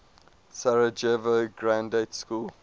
sarajevo graduate school